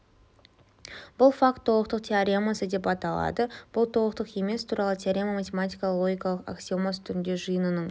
бұл факт толықтық теоремасы деп аталады бұл толықтық емес туралы теорема математикалық логика аксиомасы түрінде жиынының